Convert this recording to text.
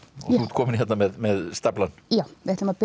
þú ert komin með staflann við ætlum að byrja